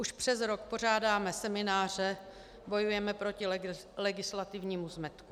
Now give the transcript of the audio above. Už přes rok pořádáme semináře, bojujeme proti legislativnímu zmetku.